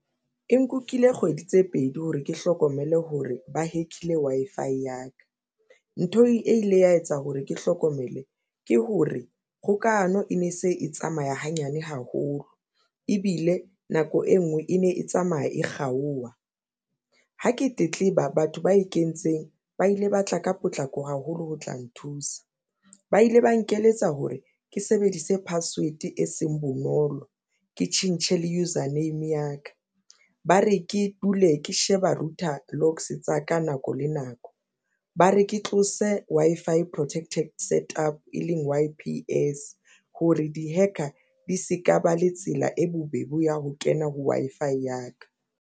E nkukile kgwedi tse pedi hore ke hlokomele hore ba hack-ile Wi-Fi ya ka nthong e ile ya etsa hore ke hlokomele ke hore kgokahano e ne se e tsamaya hanyane haholo ebile nako e ngwe e ne e tsamaya e kgaowa. Ha ke tletleba batho ba e kentseng ba ile ba tla ka potlako haholo ho tla nthusa. Ba ile ba nkeletsa hore ke sebedise password e seng bonolo ke tjhentjhe le user name ya ka ba re ke o le ke sheba router locks tsa ka, nako le nako ba re ke tlose Wi-Fi protected set up e leng hore di-hacker di se ka ba le tsela e bobebe ya ho kena ho Wi-Fi ya ka.